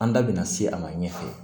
An da bina se a ma ɲɛfɛ